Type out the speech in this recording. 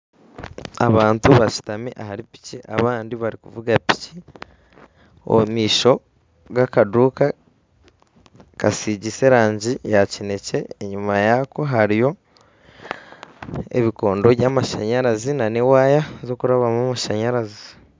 Abantu bashutami ahari piki abandi barikuvuga piki. Ow'omumaisho aine akaduuka kasigiise erangi ya kinekye. Enyima yaako hariyo ebikondo by'amashanyarazi n'ewaaya zirikurabwamu amashanyarazi.